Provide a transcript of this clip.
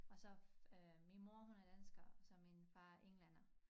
Og så øh min mor hun er dansker og så min far englænder